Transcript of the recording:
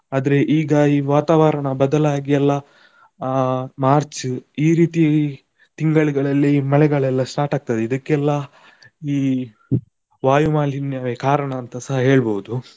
ಆದ್ರೆ ಈಗ ಈ ವಾತಾವರಣ ಬದಲಾಗಿಯೆಲ್ಲ ಅಹ್ March ಈ ರೀತಿ ತಿಂಗಳ್ಗಳಲ್ಲಿ ಮಳೆಗಳೆಲ್ಲಾ start ಆಗ್ತದೆ, ಇದಕ್ಕೆಲ್ಲ ಈ ವಾಯು ಮಾಲಿನ್ಯವೇ ಕಾರಣ ಅಂತಸ ಹೇಳ್ಬಹುದು.